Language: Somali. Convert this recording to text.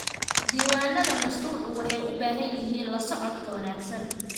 Diiwaanada mashruucu waxay u baahan yihiin la socodka wanaagsan.